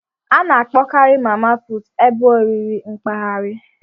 A na-akpọkarị mama puutụ ebe oriri mpaghara.